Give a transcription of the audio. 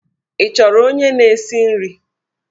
Ị chọrọ onye na-esi nri?